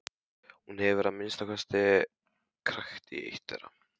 Hún hefur að minnsta kosti krækt í eitt þeirra.